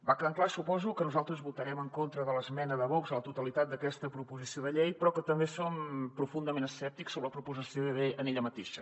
va quedant clar suposo que nosaltres votarem en contra de l’esmena de vox a la totalitat d’aquesta proposició de llei però que també som profundament escèptics sobre la proposició en ella mateixa